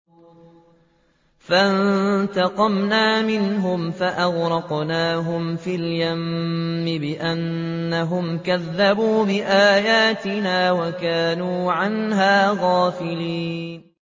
فَانتَقَمْنَا مِنْهُمْ فَأَغْرَقْنَاهُمْ فِي الْيَمِّ بِأَنَّهُمْ كَذَّبُوا بِآيَاتِنَا وَكَانُوا عَنْهَا غَافِلِينَ